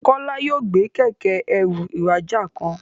Kola yóò gbé Kẹ̀kẹ́-ẹrù ìrajà kan.